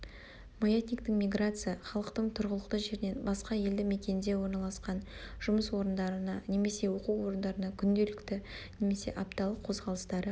маятниктік миграция-халықтың тұрғылықты жерінен басқа елді мекенде орналасқан жұмыс орындарына немесе оқу орындарына күнделікті немесе апталық қозғалыстары